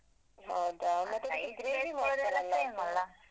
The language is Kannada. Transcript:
ಹೌದಾ